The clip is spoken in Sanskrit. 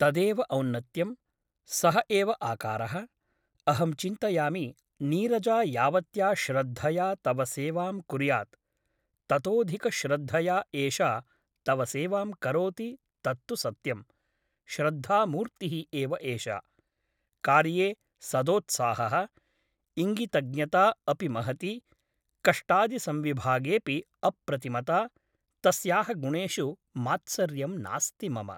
तदेव औन्नत्यम् । सः एव आकारः । अहं चिन्तयामि नीरजा यावत्या श्रद्धया तव सेवां कुर्यात् ततोधिकश्रद्धया एषा तव सेवां करोति तत्तु सत्यम् । श्रद्धामूर्तिः एव एषा । कार्ये सदोत्साहः । इङ्गितज्ञता अपि महती । कष्टादिसंविभागेऽपि अप्रतिमता । तस्याः गुणेषु मात्सर्यं नास्ति मम ।